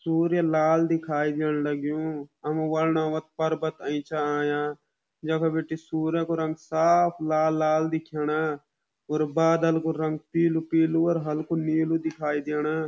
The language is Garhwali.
सूर्य लाल दिखाई दीण लग्युं हम वर्नोवत पर्वत अयीं छा आयां यख बीटी सूर्य कु रंग साफ़ लाल-लाल दिखेंणा और बादल कु रंग पीलू-पीलू और हल्कू नीलू दिखाई देणा।